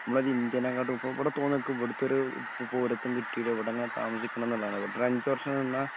മ്മളൊരിന്ത്യാനെക്കാട്ടും ഇപ്പൊ ഇവിടെ തോന്നുക്ക്‌ ഇവിടുത്തൊരു പൗരത്വം കിട്ടീല ഇവടെങ്ങ താമസിക്കണംന്നിള്ളാണ് ഇവിടൊരഞ്ചു വർഷം നിന്നാ